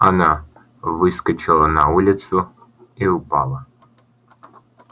она выскочила на улицу и упала